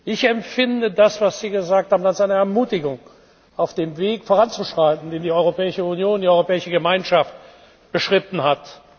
Ich empfinde das, was Sie gesagt haben, als eine Ermutigung, auf dem Weg voranzuschreiten, den die Europäische Union, die Europäische Gemeinschaft beschritten hat.